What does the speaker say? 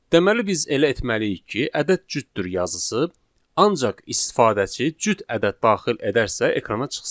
Deməli biz elə etməliyik ki, ədəd cütdür yazısı ancaq istifadəçi cüt ədəd daxil edərsə ekrana çıxsın.